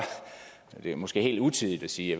det er måske helt utidigt at sige